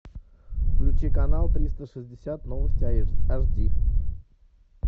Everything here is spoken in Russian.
включи канал триста шестьдесят новости аш ди